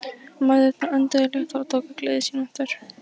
Mæðurnar önduðu léttar og tóku gleði sína aftur.